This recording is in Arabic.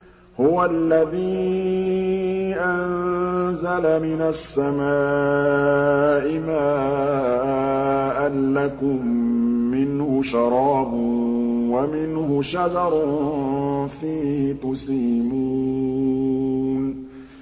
هُوَ الَّذِي أَنزَلَ مِنَ السَّمَاءِ مَاءً ۖ لَّكُم مِّنْهُ شَرَابٌ وَمِنْهُ شَجَرٌ فِيهِ تُسِيمُونَ